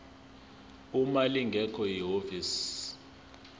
uma lingekho ihhovisi